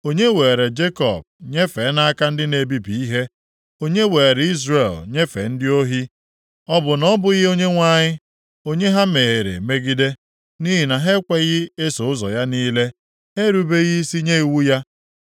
Onye weere Jekọb nyefee nʼaka ndị na-ebibi ihe, onye were Izrel nyefee ndị ohi? Ọ bụ na ọ bụghị Onyenwe anyị onye ha mehiere megide? Nʼihi na ha ekweghị eso ụzọ ya niile, ha erubeghị isi nye iwu ya.